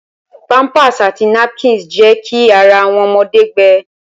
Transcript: Pampers àti napkins jẹ ki ará awọn ọmọde gbẹ.